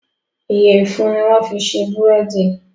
Iyẹ̀fun ni wọ́n fi ṣe búrèdì